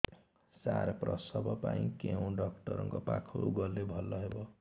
ସାର ପ୍ରସବ ପାଇଁ କେଉଁ ଡକ୍ଟର ଙ୍କ ପାଖକୁ ଗଲେ ଭଲ ହେବ